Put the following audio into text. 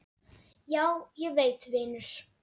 Já, ég veit vinur.